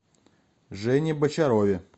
жене бочарове